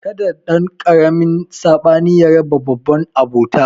Kada ɗankaramin sabani ya raba babban abota